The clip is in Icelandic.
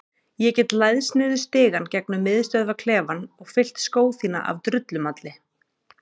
Ég get læðst niður stigann gegnum miðstöðvarklefann og fyllt skó þína af drullumalli.